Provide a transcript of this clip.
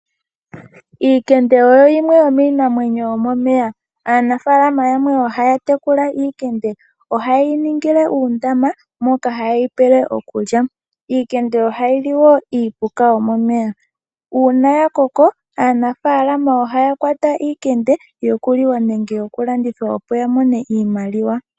Omakende oyo yimwe yomiinamwenyo yomomeya. Aanafaalama yamwe ohaya tekula omakende. Ohaye yi ningile uundama moka haye yi pele okulya. Omakende ohayi li wo iipuka yomomeya. Uuna ya koko, aanafaalama ohaya kwata omakende, yoku liwa nenge yoku landithwa opo ya mone iimaliwa.